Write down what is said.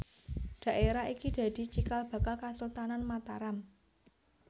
Dhaérah iki dadi cikal bakal Kasultanan Mataram